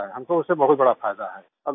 हमको उससे बहुत बड़ा फायदा है